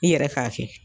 I yɛrɛ k'a kɛ